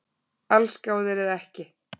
Allsgáðir eða ekki